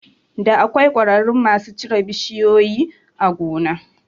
Da akwai ƙwararru masu cire bishiyoyin a gona